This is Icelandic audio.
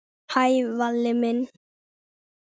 Hæ, Valli minn.